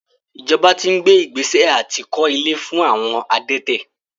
Ìjọba ti ń gbé ìgbésẹ̀ àti kó ilé fún àwọn adẹ́tẹ̀.